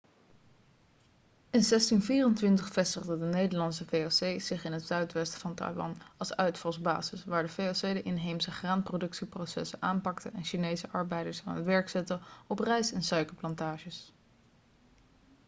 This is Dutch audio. in 1624 vestigde de nederlandse voc zich in het zuidwesten van taiwan als uitvalsbasis waar de voc de inheemse graanproductieprocessen aanpakte en chinese arbeiders aan het werk zette op rijst en suikerplantages